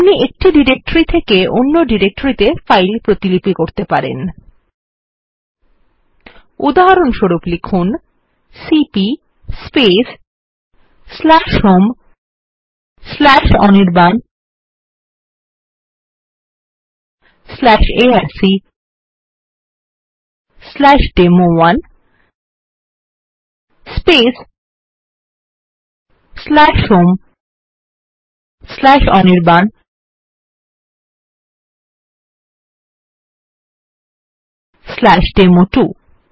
আপনি এক ডিরেকটরি থেকে অন্য ডিরেকটরিত়ে ফাইল কপি করতে পারেন উদাহরণস্বরূপ লিখুন সিপি homeanirbanarcডেমো1 homeanirbanডেমো2